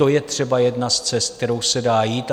To je třeba jedna z cest, kterou se dá jít.